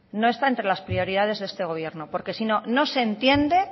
no está entre las prioridades de este gobierno porque si no no se entiende